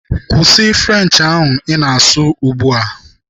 Kwụsị French ahụ ị na-asụ ugbu a!